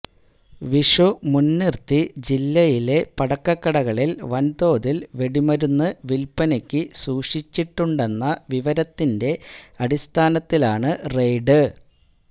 വിഷു മുന്നിര്ത്തി ജില്ലയിലെ പടക്കക്കടകളില് വന്തോതില് വെടിമരുന്നുകള് വില്പ്പനക്ക് സൂക്ഷിച്ചിട്ടുണ്ടെന്ന വിവരത്തിന്റെ അടിസ്ഥാനത്തിലാണ് റെയ്ഡ്